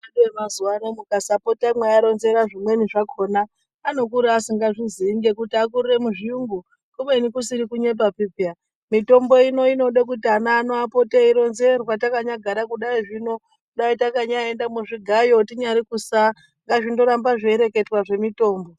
Ava edu emazuwaano mukasapota mweiaronzera zvimweni zvakhona anokura asingazviziii ngekuti akurire muzviyungu kubeni kusiri kunyepapi pheya mitombo ino inoda kuti ana ano arambe eindoronzerwa takanyagara kudai zvino takanyaenda kuchigayo kunyari kusaa ngazvindorambe zveireketwa zvemitombo.